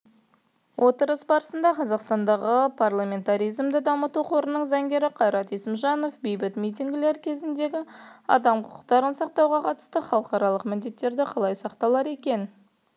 отырыс барысында қазақстандағы парламентаризмді дамыту қорының заңгері қайрат есімжанов бейбіт митингілер кезіндегі адам құқықтарын сақтауға қатысты халықаралық міндеттері қалай сақталар екен